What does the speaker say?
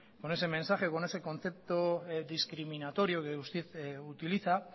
con ese mensaje con ese contexto discriminatorio que usted utiliza